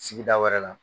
Sigida wɛrɛ la